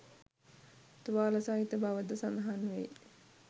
තුවාල සහිත බව ද සඳහන් වෙයි